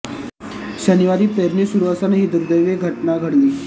शनिवारी पेरणी सुरु असताना ही दुर्देवी घटना घडली